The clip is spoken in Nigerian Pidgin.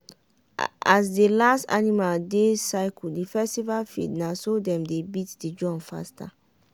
as the last animal dey circle the festival field na so dem dey beat the drum faster.